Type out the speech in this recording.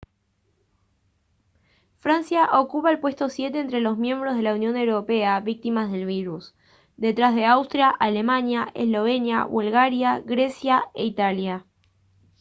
francia ocupa el puesto siete entre los miembros de la unión europea víctimas del virus detrás de austria alemania eslovenia bulgaria grecia e italia